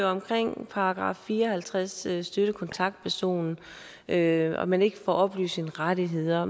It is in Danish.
omkring § fire og halvtreds til støttekontaktpersonen at man ikke får oplyst sine rettigheder